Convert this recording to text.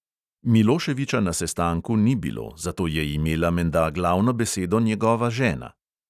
Miloševiča na sestanku ni bilo, zato je imela menda glavno besedo njegova žena.